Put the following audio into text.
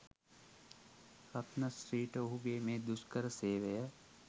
රත්න ශ්‍රීට ඔහුගේ මේ දුෂ්කර සේවය